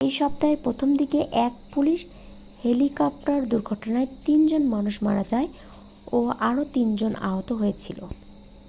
এই সপ্তাহের প্রথম দিকে এক পুলিশ হেলিকপ্টার দুর্ঘটনায় তিন জন মানুষ মারা যায় ও আরও তিন জন আহত হয়েছিল